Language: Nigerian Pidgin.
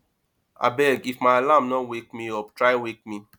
abeg if my alarm no wake me up try wake me